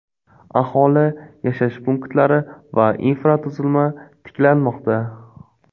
Aholi yashash punktlari va infratuzilma tiklanmoqda.